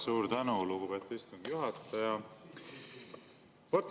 Suur tänu, lugupeetud istungi juhataja!